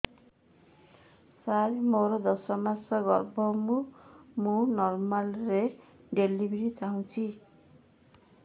ସାର ମୋର ଦଶ ମାସ ଗର୍ଭ ମୁ ନର୍ମାଲ ଡେଲିଭରୀ ଚାହୁଁଛି